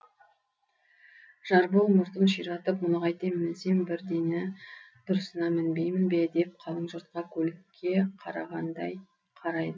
жарбол мұртын ширатып мұны қайтем мінсем бір дені дұрысына мінбеймін бе деп қалың жұртқа көлікке қарағандай қарайды